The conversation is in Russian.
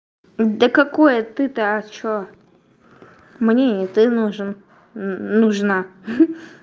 да какое ты то что мне и ты нужен нужна